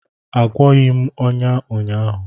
Agwọghị m ọnya ụnyaahụ